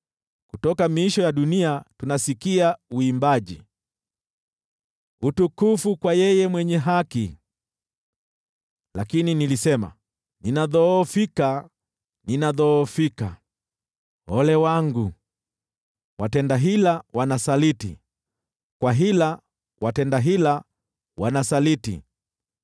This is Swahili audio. Kutoka miisho ya dunia tunasikia uimbaji: “Utukufu kwa Yule Mwenye Haki.” Lakini nilisema, “Ninadhoofika, ninadhoofika! Ole wangu! Watenda hila wanasaliti! Kwa hila watenda hila wanasaliti!”